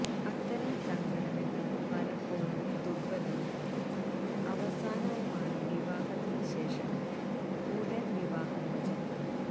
അത്തരം സംഘടനകൾ പലപ്പോഴും ദുർബലവും അവസാനവുമാണ് വിവാഹത്തിന് ശേഷം ഉടൻ വിവാഹമോചനം